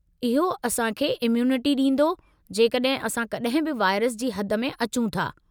इहो असां खे इम्यूनिटी ॾींदो जेकॾहिं असां कॾहिं बि वाइरस जी हद में अचूं था।